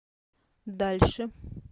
дальше